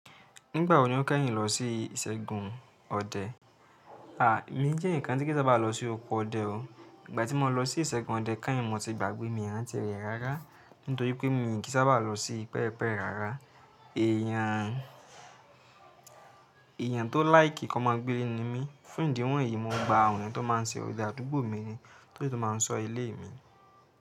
Nígbà wo ni o kẹ́yìn lọ sí ìṣẹ́gun ọdẹ? À, emi jẹ́ ǹkan tí kí sá bà lọ sí oko ọdẹ o. Ìgbà tí mo lọ sí ìṣẹ́gun ọdẹ, kẹ́yìn mo ti gbàgbé mi ranti rẹ rárá, nítorí pé mi kì í sábà lọ sí pẹpẹ rárá. Èèyàn tó láìkí ko máa gbéle ní mi. Fún ìdí wọ̀nyí, mo gba àwọn tó má ń ṣe òde àdúgbò mi ni tó yóò má ń sọ ilé mi.